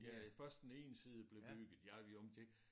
Ja først den ene side blev bygget ja jo men det